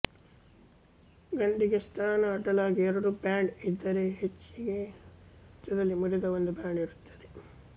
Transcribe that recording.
ಗಂಡಿಗೆ ಸ್ತನ ಅಡ್ಡಲಾಗಿ ಎರಡು ಬ್ಯಾಂಡ್ ಇದ್ದರೆ ಹೆಣ್ಣಿಗೆ ಸಾಮಾನ್ಯವಾಗಿ ಮಧ್ಯದಲ್ಲಿ ಮುರಿದ ಒಂದು ಬ್ಯಾಂಡ್ ಇರುತ್ತದೆ